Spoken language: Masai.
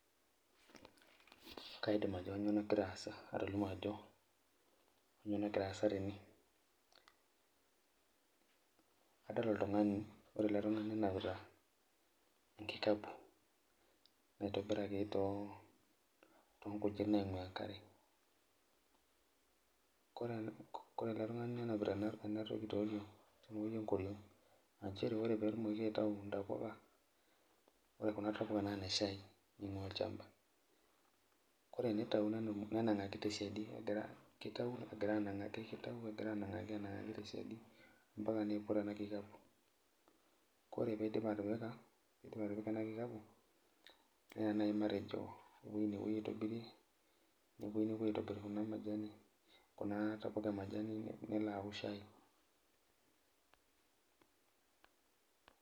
Kaidim atolimu ajo kanyioo nagira aasa tene kadol oltungani, ore ale tungani nenapita enkikapu naitobiraki too nkujit naing'uaa karen kore ale tungani nenapita enatoki te ngoriong' aa inchere ore peetumoki aitayu intapuka, ore kuna tapuka naa ne shaii naing'ua olchamba, kore peitawu nenang'aki te siadi egira keitau negira anang'aki te siadi mpaka neiput ena nkikapu, kore peidip atipika ena nkikapu neya naii matejo eweji napoi aitobirie nepoi aapo aitobir kuna majani kunaa tapuka emaji nelo aaku eshaii.